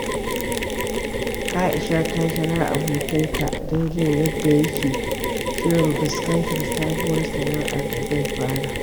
Aisha ta kira abokinta don jin yadda yake shirin fuskantar sabuwar sana’ar da zai fara.